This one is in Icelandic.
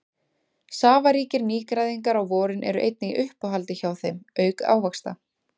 Safaríkir nýgræðingar á vorin eru einnig í uppáhaldi hjá þeim auk ávaxta.